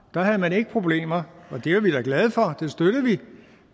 der havde man ikke problemer og det er vi jo glade for og det støttede vi